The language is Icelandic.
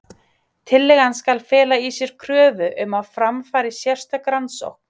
Tillagan skal fela í sér kröfu um að fram fari sérstök rannsókn.